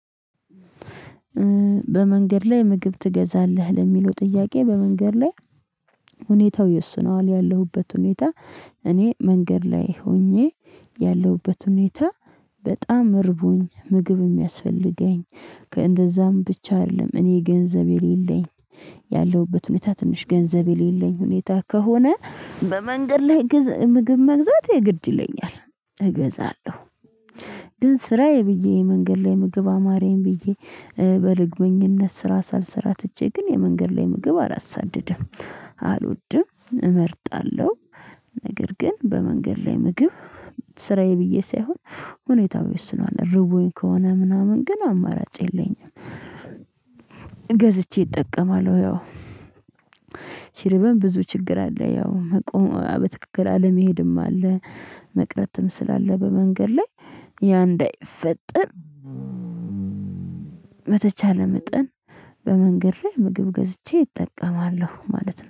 በመንገድ ላይ ምግብ ትገዛለህ? ለሚለው ጥያቄ በመንገድ ላይ ሁኔታው ይወስነዋል ያለሁበት ሁኔታ እኔ መንገድ ላይ ሆኜ ያለሁበት ሁኔታ በጣም እርቦኝ ምግብ የሚያስፈልገኝ፤ እንደዛም ብቻ አይደለም እኔ ገንዘብ የሌለኝ ያለሁበት ሁኔታ ትንሽ ገንዘብ የሌለኝ ሁኔታ ከሆነ በመንገድ ላይ ምግብ መግዛት የግድ ይለኛል እገዛለሁ። ግን ስራዬ ብዬ የመንገድ ላይ ምግብ አማረኝ ብዬ በልግመኝነት ስራ ሳልሰራ ትቼ ግን የመንገድ ላይ ምግብ አላሳድደም፤ አልወድም፤ እመርጣለሁ ነገር ግን በመንገድ ላይ ምግብ ስራዬ ብዬ ሳይሆን ሁኔታው ይወስነዋል። እርቦኝ ከሆነ ምናምን ግን አማራጭ የለኝም ገዝቼ እጠቀማለሁ ያው ሲርበን ብዙ ችግር አለ። ያው መቆም በትክክል አለመሄድም አለ። መቅረትም ስላለ በመንገድ ላይ ያን እንዳይፈጠር በተቸለ መጠን በመንገድ ላይ ምግብ ገዝቼ እጠቀማለሁ ማለት ነው።